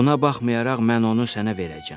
Buna baxmayaraq mən onu sənə verəcəyəm.